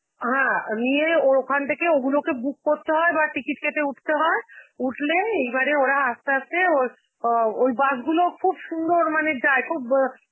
হ্যাঁ অ নিয়ে ওর ওখান থেকে ওগুলোকে book করতে হয় বা ticket কেটে উঠতে হয়, উঠলে এইবারে ওরা আস্তে আস্তে ওর~ অ ওই bus গুলো খুব সুন্দর মানে যায়, খুব বা~